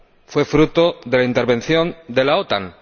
Fue fruto de la intervención de la OTAN.